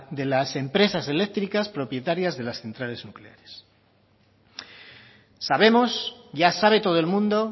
de las empresas eléctricas propietarias de las centrales nucleares sabemos ya sabe todo el mundo